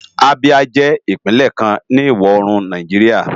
Abia jè Ipinlè kán ni iwò órún Náijiriá